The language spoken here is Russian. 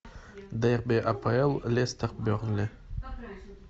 дерби апл лестер бернли